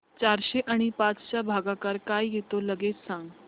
चारशे आणि पाच चा भागाकार काय येतो लगेच सांग